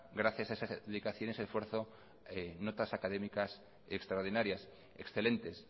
gracias a estas dedicaciones y esfuerzos notas académicas extraordinarias excelentes